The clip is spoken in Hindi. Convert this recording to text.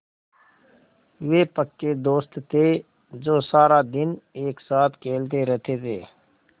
वे पक्के दोस्त थे जो सारा दिन एक साथ खेलते रहते थे